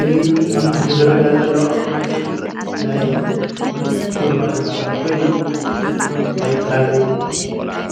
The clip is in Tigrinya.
እዚ ኣብ ምስሊ ዝረአየና ዘሎ ናይ ሱፐር ማርኬት ኣቑሑት ኮይኑ ናይ ባዝሊን